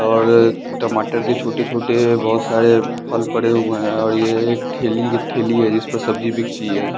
और टमाटर के छोटे-छोटे बहुत सारे फल पड़े हुए हैं और ये एक ठेली की ठेली है जिस पर सब्जी बिकती है।